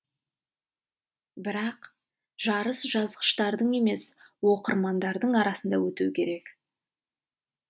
бірақ жарыс жазғыштардың емес оқырмандардың арасында өтуі керек